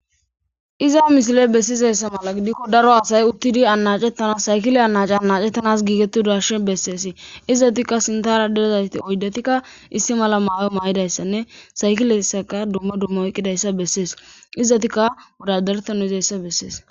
Iza mishile bessizeessa mala gidikko daro asay uttidi anacettanas saykile anaci anacettanas giigetti darshe besseesi izzatikka sintara derezayti oydatikka issi mala maayo maa7idayssanne saykilessaka dumma duma oyqqidayssa bessees izzatikka wodadertanu izayssa bessees.